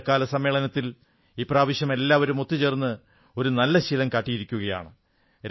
വർഷകാല സമ്മേളനത്തിൽ ഇപ്രാവശ്യം എല്ലാവരും ഒത്തുചേർന്ന് ഒരു നല്ല ശീലം കാട്ടിയിരിക്കയാണ്